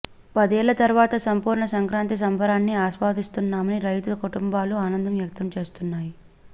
పదేళ్ల తర్వాత సంపూర్ణ సంక్రాంతి సంబరాన్ని ఆస్వాదిస్తున్నామని రైతు కుటుంబాలు ఆనందం వ్యక్తం చేస్తున్నాయి